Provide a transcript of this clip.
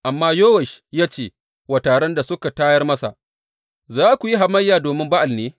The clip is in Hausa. Amma Yowash ya ce wa taron da suka tayar masa, Za ku yi hamayya domin Ba’al ne?